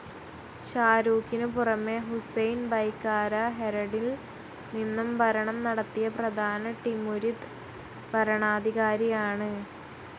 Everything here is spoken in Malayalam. ഷാഹ്‌ രൂഖിനു പുറമേ, ഹുസൈൻ ബയ്കാര ഹെരടിൽ നിന്നും ഭരണം നടത്തിയ പ്രധാന ടിമുരിദ് ഭരണാധികാരിയാണ്.